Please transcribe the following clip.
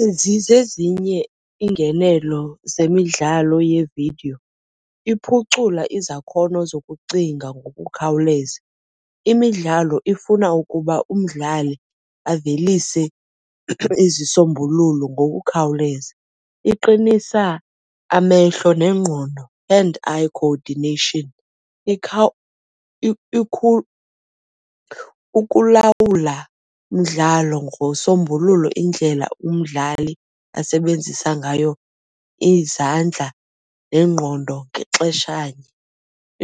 Ezi zezinye iingenelo zemidlalo yevidiyo. Iphucula izakhono zokucinga ngokukhawuleza, imidlalo ifuna ukuba umdlali avelise izisombululo ngokukhawuleza. Iqinisa amehlo nengqondo, hand-eye coordination, ukulawula umdlalo ngosombululo indlela umdlali asebenzisa ngayo izandla nengqondo ngexeshanye.